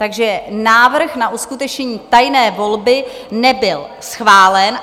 Takže návrh na uskutečnění tajné volby nebyl schválen.